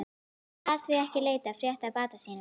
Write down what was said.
Hann gat því ekki leitað frétta af bata sínum.